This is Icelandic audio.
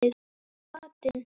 Og matinn